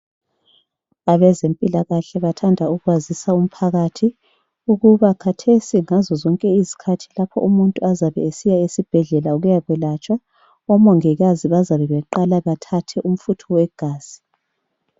Abezempilakahle bathanda ukwazisa umphakathi ukuba khathesi ngazo zonke izikhathi lapho umuntu azabe esiya esibhedlela ukuya kwelatshwa, omongikazi bazabe baqala bathathe umfutho wegazi.